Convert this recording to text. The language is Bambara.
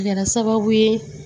A kɛra sababu ye